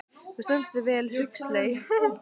Þú stendur þig vel, Huxley!